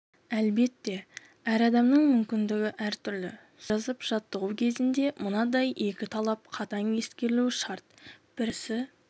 әлбетте әр адамның мүмкіндігі әртүрлі сөз жазып жаттығу кезінде мынадай екі талап қатаң ескерілуі шарт біріншісі